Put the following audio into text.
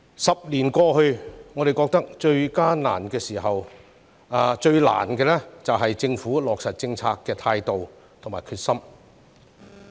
十年過去，我們覺得最大的難題在於政府落實政策的態度和決心。